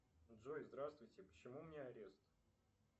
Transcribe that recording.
джой здравствуйте почему у меня арест